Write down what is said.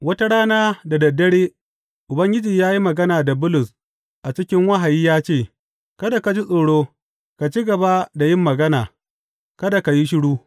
Wata rana da dad dare, Ubangiji ya yi magana da Bulus a cikin wahayi ya ce, Kada ka ji tsoro; ka ci gaba da yin magana, kada ka yi shiru.